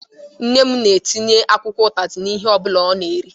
Nne m na-etinye akwụkwọ utazi n'ihe ọbụla ọ na-eri